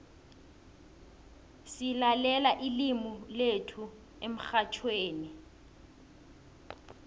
silalela ilimu lethu emxhatjhweni